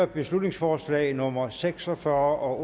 beslutningsforslag nummer b seks og fyrre